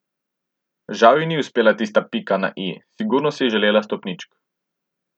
Žal ji ni uspela tista pika na i, sigurno si je želela stopničk.